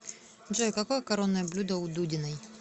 джой какое коронное блюдо у дудиной